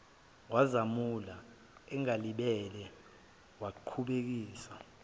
wazamula engalibele wukubhekisisa